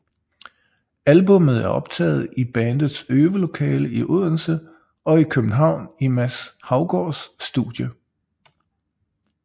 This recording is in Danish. Albummet er optaget i bandets øvelokale i Odense og i København i Mads Haugaards studie